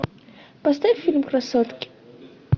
поставь фильм красотки